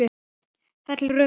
Það er rökrétt skref.